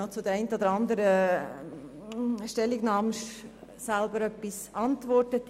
Nun zu den Argumenten, die vorgebracht wurden: